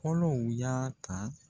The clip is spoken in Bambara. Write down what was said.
Fɔlɔw y'a ta